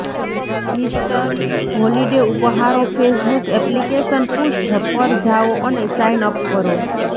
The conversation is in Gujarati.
ઇસ્ટર હોલિડે ઉપહારો ફેસબુક એપ્લિકેશન પૃષ્ઠ પર જાઓ અને સાઇન અપ કરો